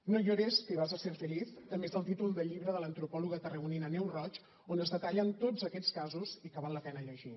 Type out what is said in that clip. no llores que vas a ser feliz també és el títol del llibre de l’antropòloga tarragonina neus roig on es detallen tots aquests casos i que val la pena llegir